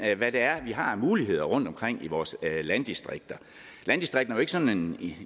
hvad det er vi har af muligheder rundtomkring i vores landdistrikter landdistrikterne er sådan